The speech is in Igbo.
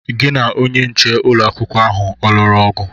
Gị na onye nche ụlọ akwụkwọ ahụ ọ lụrụ ọgụ?